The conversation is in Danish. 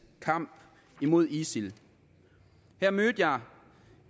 kamp imod isil her mødte jeg